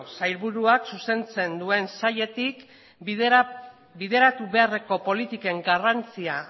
sailburuak zuzentzen zuen sailetik bideratu beharreko politiken garrantzia